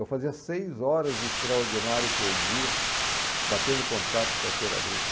Eu fazia seis horas de extraordinário por dia, batendo contrato de carteira agrícola.